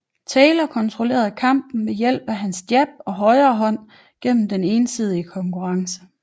Taylor kontrollerede kampen ved hjælp af hans jab og højrehånd gennem den ensidige konkurrence